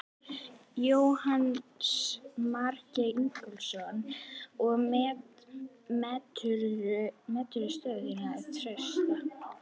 Jónas Margeir Ingólfsson: Og meturðu stöðu þína trausta?